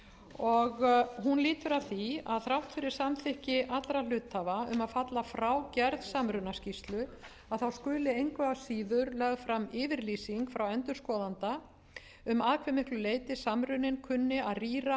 og hún lýtur að því að þrátt fyrir samþykki allra hluthafa um að falla frá gerð samrunaskýrslu skuli engu að síður lögð fram yfirlýsing frá endurskoðanda um að hve miklu leyti samruninn kunni að rýra